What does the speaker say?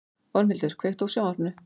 Ormhildur, kveiktu á sjónvarpinu.